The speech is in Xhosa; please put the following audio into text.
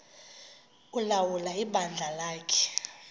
ulawula ibandla lakhe